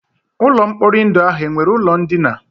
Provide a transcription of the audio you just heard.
Ụlọ mkpori ndụ ahụ enwere ụlọ ndina?